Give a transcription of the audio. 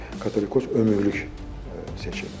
Katolikos ömürlük seçilib.